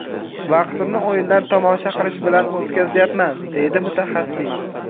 Vaqtimni o‘yinlar tomosha qilish bilan o‘tkazyapman”, deydi mutaxassis.